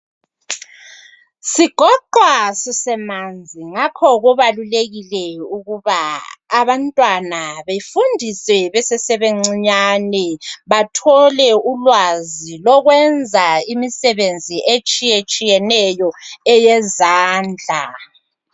Sigoqwa sisemanzi ngoba kubalulekile ukuba abantwana be fundiswe besesebancinyane bathole ulwazi lokwenza imisebenzi etshiyetshiyeneyo eyezandla